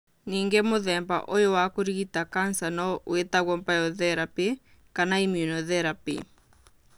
Ningĩ mũthemba ũyũ wa kũrigita kanca no wĩtagwo biotherapy kana immunotherapy.